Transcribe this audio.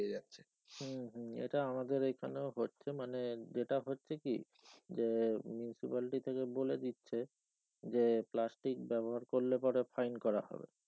হম হম এটা আমাদের এখানেও হচ্ছে মানে যেটা হচ্ছে কি যে municipality থেকে বলে দিচ্ছে যে প্লাস্টিক ব্যবহার করলে পরে fine করা হবে।